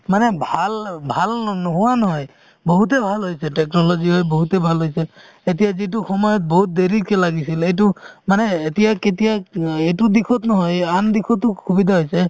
মানে ভাল অ ভাল ন~ নোহোৱা নহয় বহুতে ভাল হৈছে technology হৈ বহুতে ভাল হৈছে এতিয়া যিটো সময়ত বহুত দেৰিকে লাগিছিলে এইটো মানে এতিয়া কেতিয়া অ এইটো দিশত নহয় এই আন দিশতো সুবিধা হৈছে